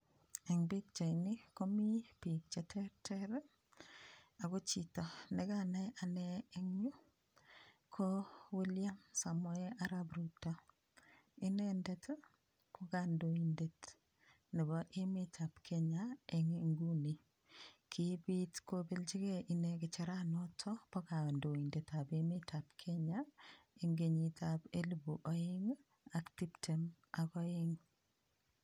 Eng pichait ni ko mii biik che terter ako chito nikanai ane en yu ko William samoeisr ap rutoinendet ko kandoindet nebo emet ap Kenya eng nguni kibit kopelchigei ine kicherani nito po kandoindet ap emet ap Kenya ing kenyit ap elipu oeng ak tiptem ak oeng.